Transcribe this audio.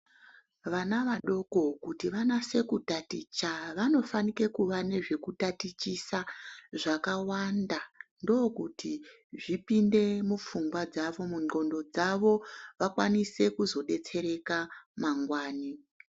Vana vadoko kuti vanase ku taticha vanofanike kuva nezveku tatichisa zvakawanda ndokuti zvipinde mu pfungwa dzavo mu ndxondo dzavo vakwanise kuzo detsereka mangwani.